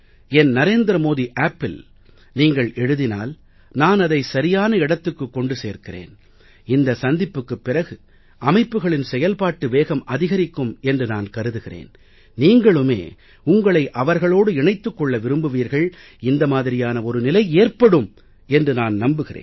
என் narendramodiappஇல் நீங்கள் எழுதினால் நான் அதை சரியான இடத்துக்கு கொண்டு சேர்க்கிறேன் இந்த சந்திப்புக்குப் பிறகு அமைப்புக்களின் செயல்பாட்டு வேகம் அதிகரிக்கும் என்று நான் கருதுகிறேன் நீங்களுமே உங்களை அவர்களோடு இணைத்துக் கொள்ள விரும்புவீர்கள் இந்த மாதிரியான ஒரு நிலை ஏற்படும் என்று நான் நம்புகிறேன்